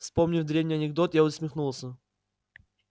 вспомнив древний анекдот я усмехнулся